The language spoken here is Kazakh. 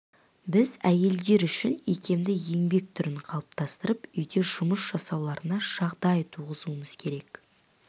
біз әйелдер үшін икемді еңбек түрлерін қалыптастырып үйде жұмыс жасауларына жағдай туғызуымыз керек